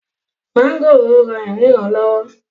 mọ́ngòròń rán ìríran lọ́wọ́